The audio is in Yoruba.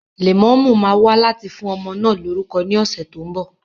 Lẹ̀mọ́mú máa wá láti fún ọmọ náà lórúkọ ní ọ̀sẹ̀ tó ń bọ̀